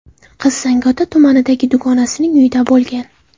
Qiz Zangiota tumanidagi dugonasining uyida bo‘lgan.